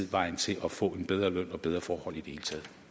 vejen til at få en bedre løn og bedre forhold i